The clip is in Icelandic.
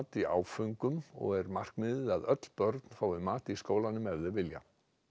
í áföngum og er markmiðið að öll börn fái mat í skólanum ef þau vilja